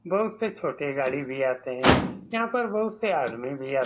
बहुत से छोटे गाड़ी भी आते हैं यहाँ पर बहुत से आदमी भी आते --